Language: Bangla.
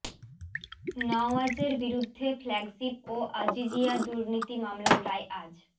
নওয়াজের বিরুদ্ধে ফ্ল্যাগশিপ ও আজিজিয়া দুর্নীতি মামলার রায় আজ